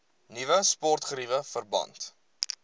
nuwe sportgeriewe verband